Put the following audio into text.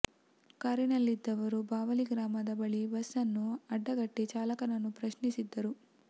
ಕಾರಿನಲ್ಲಿದ್ದವರು ಬಾವಲಿ ಗ್ರಾಮದ ಬಳಿ ಬಸ್ ಅನ್ನು ಅಡ್ಡಗಟ್ಟಿ ಚಾಲಕನನ್ನು ಪ್ರಶ್ನಿಸಿದ್ದರು